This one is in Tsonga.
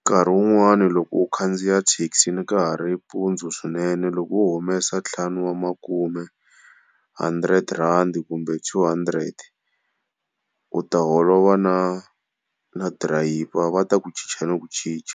Nkarhi wun'wani loko u khandziya thekisini ka ha ri mpundzu swinene loko wo humesa ntlhanu wa makume hundred rand kumbe two hundred u ta holova na drive-yivha va ta ku chicha no ku chicha.